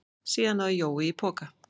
Síðan náði Jói í poka.